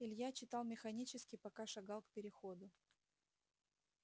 илья читал механически пока шагал к переходу